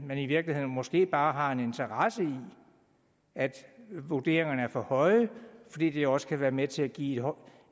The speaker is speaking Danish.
man i virkeligheden måske bare har en interesse i at vurderingerne er for høje fordi det også kan være med til at give